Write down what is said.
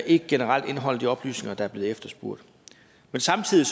ikke generelt indeholder de oplysninger der er blevet efterspurgt men samtidig